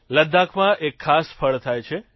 લદ્દાખમાં એક ખાસ ફળ થાય છે